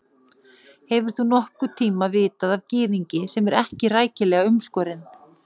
Hefur þú nokkurn tíma vitað af gyðingi, sem er ekki rækilega umskorinn?